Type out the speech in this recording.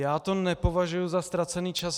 Já to nepovažuji za ztracený čas.